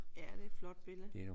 Ja det er et flot billede